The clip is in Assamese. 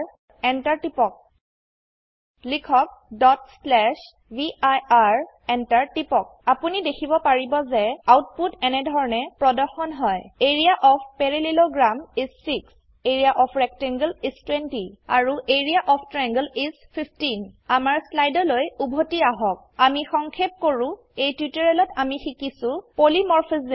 এন্টাৰ টিপক লিখক vir এন্টাৰ টিপক আপোনি দেখিব পাৰিব যে আউটপুট এনেধৰনেপ্ৰদৰ্শনহয় area of parallelogram is 6 area of rectangle is 20 আৰু এৰিয়া অফ ট্ৰায়াংলে ইচ 15 আমাৰ স্লাইডলৈ উভতি আহক আমিসংক্ষেপ কৰো এই টিউটোৰিয়েলত আমি শিকিছো পলিমৰফিজম